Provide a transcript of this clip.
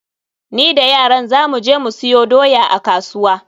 Ni da yaran za mu je mu siyo doya a kasuwa.